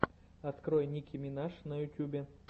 открой ники минаж на ютубе